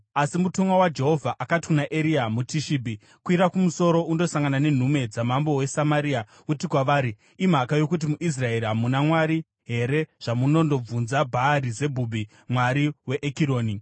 Asi mutumwa waJehovha akati kuna Eria muTishibhi, “Kwira kumusoro undosangana nenhume dzamambo weSamaria uti kwavari, ‘Imhaka yokuti muIsraeri hamuna Mwari here zvamunondobvunza Bhaari-Zebhubhi, mwari weEkironi?’